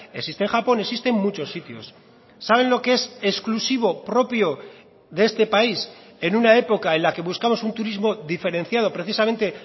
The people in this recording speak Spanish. existe en japón existe en muchos sitios saben lo que es exclusivo propio de este país en una época en la que buscamos un turismo diferenciado precisamente